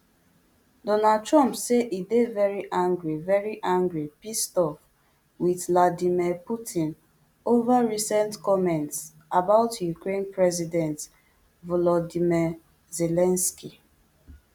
donald trump say e dey very angry very angry pissed off with vladimir putin over recent comments about ukraine president volodymyr zelensky